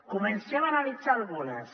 comencem a analitzar ne algunes